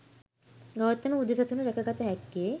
ගෞතම බුදු සසුන රැකගත හැක්කේ